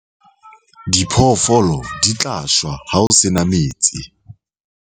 diphoofolo di tla shwa ha ho se na metsi